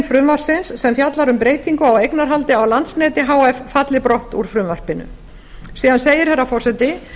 frumvarpsins sem fjallar um breytingu á eignarhaldi á landsneti h f falli brott úr frumvarpinu síðan segir herra forseti